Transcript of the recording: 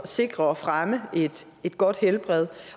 sikre og fremme et godt helbred